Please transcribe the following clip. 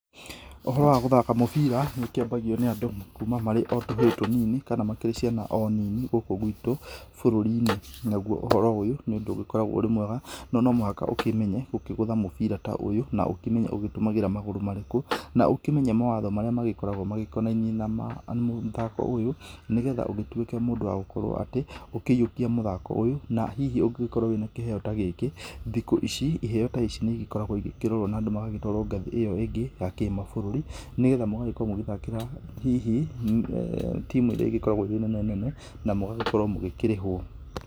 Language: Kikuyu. Ũhoro wa gũthaka mũbira nĩ ũkĩambagio nĩ andũ kuma o marĩ tũhĩ tũnini kana makĩrĩ ciana o nini gũku gwitũ bũrũri-inĩ ,nagũo ũhoro ũyũ nĩ ũndũ ũgĩkorawo wĩ mwega no nomũhaka ũkĩmenye gũkĩgũtha mũbira ta ũyũ na ũkĩmenye gũgĩtũmagĩra magũrũ marĩkũ na ũkĩmenye mawatho marĩa magĩkoragwo makonainie na mũthako ũyũ nĩgetha ũgĩtuĩke mũndũ wa gũkorwo atĩ ũkĩiyũkia mũthako ũyũ na hihi ũngĩgĩkorwo wĩna kĩheo ta gĩkĩ thikũ ici ,iheo ta ici nĩ ĩgĩkoragwo ikĩrorwo na andũ magagĩtwarwo ngathĩ ĩyo ingĩ ya kĩmabũrũri nĩgetha mũgagĩkorwo mũgĩthakĩra hihi timu ĩrĩa ĩgĩkoragwp ĩrĩ nene nene na mũgagĩkorwo mũkĩrĩhwo.